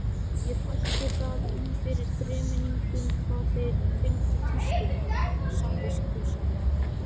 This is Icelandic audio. Ekki bætti það um fyrir þremenningunum hvað þeir fylgdu tískunni samviskusamlega.